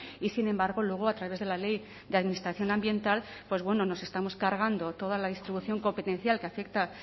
y sin embargo luego a través de la ley de administración ambiental pues bueno nos estamos cargando toda la distribución competencial que afecta